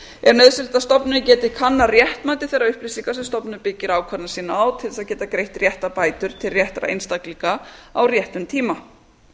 er nauðsynlegt að stofnunin geti kannað réttmæti þeirra upplýsinga sem stofnunin byggir ákvarðanir sínar á til þess að geta greitt réttar bætur til réttra einstaklinga á réttum tíma